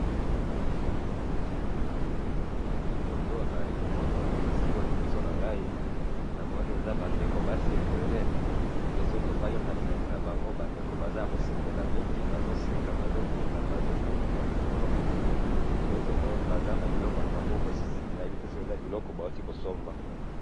Na photo Oyo nazali komona sika siko Oyo liboso na ngai, namoni eza bandeko basi ebele, pe soki totali na bilongi na bango, bandeko baza Yako sepela mingi, bazoseka, bazobina, bazopombwa likolo, pe tomoni baza na biloko na maboko, nayebi te soki eza biloko bauti kosomba